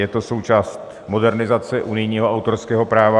Je to součástí modernizace unijního autorského práva.